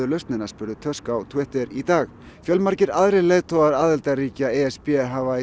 lausnina spurði Tusk á Twitter í dag fjölmargir leiðtogar aðildarríkja e s b hafa